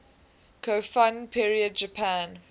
kofun period japan